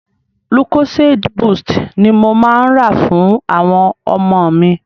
Lucozade boost ni mo máa ń rà fún àwọn ọmọ mi.